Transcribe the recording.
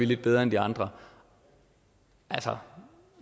lidt bedre end de andre altså